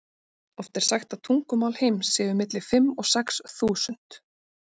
Oft er sagt að tungumál heims séu milli fimm og sex þúsund.